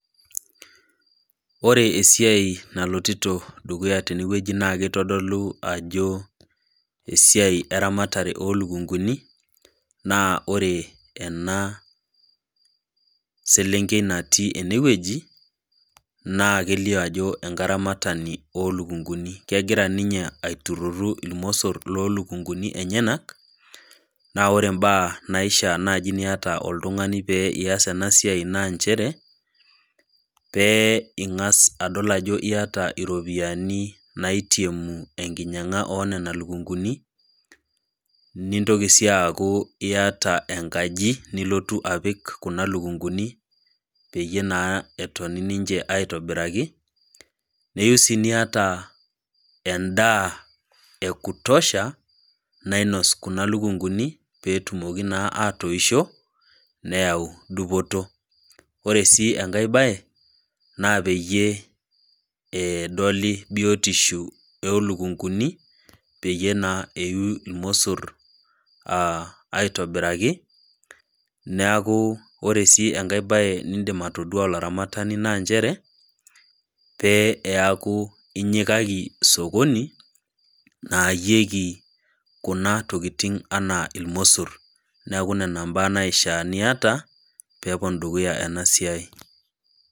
Ore esiai nalotito dukuya tenewueji naakeitodolu ajo esiai eramatare olukunguni naa ore ena selenkei natii enewueji naakelio ajo enkaramatani olukunguni. Kegira ninye aiturruru ilmossor loolukunguni enyenak, naa ore mbaa naishaa naji niata oltung'ani pee ias ena siai naa nchere pee ing'as adol ajo iata iropiani naitiemu enkinyang'a oonena lukunguni, nintoki sii aaku iata enkaji nilotu apik kuna lukunguni peyie naa etoni ninche aitobiraki, neyou sii niata endaa ekutosha nainos kuna lukunguni peetumoki naa aatoisho neyau dupoto. Ore sii enkai baye naa peyie eedoli biotisho olukunguni peyie naa eiyu ilmossor aah aitobiraki, neaku ore sii enkai baye nindim atoduaa olaramatani naa nchere pee eaku inyikaki sokoni naayieki kuna tokitin anaa ilmossor. Neaku nena mbaa naishaa niata peepon dukuya enasiai.